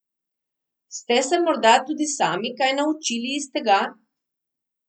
Ste se morda tudi sami kaj naučili iz tega?